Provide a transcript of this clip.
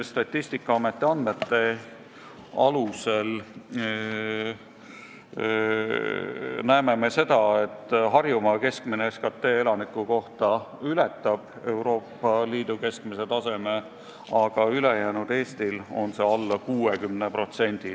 Statistikaameti andmete alusel näeme, et Harjumaa keskmine SKT elaniku kohta ületab Euroopa Liidu keskmise taseme, aga ülejäänud Eestis on see alla 60%.